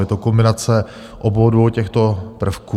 Je to kombinace obou dvou těchto prvků.